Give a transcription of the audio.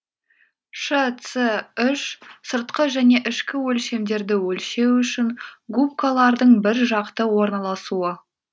шц үш сыртқы және ішкі өлшемдерді өлшеу үшін губкалардың бір жақты орналасуы